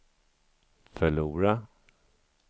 förlora